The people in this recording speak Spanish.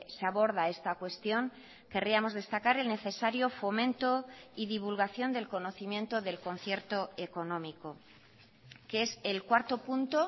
se aborda esta cuestión querríamos destacar el necesario fomento y divulgación del conocimiento del concierto económico que es el cuarto punto